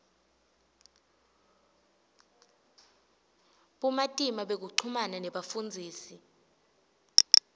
bumatima bekuchumana nebafundzisi